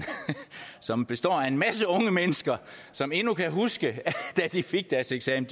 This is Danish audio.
som består af en masse unge mennesker som endnu kan huske da de fik deres eksamen